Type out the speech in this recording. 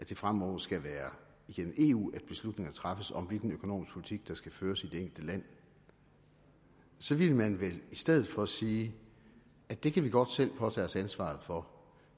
det fremover skal være igennem eu at beslutninger træffes om hvilken økonomisk politik der skal føres i det enkelte land så ville man vel i stedet for sige det kan vi godt selv påtage os ansvaret for